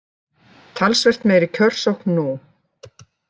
Talsvert meiri kjörsókn nú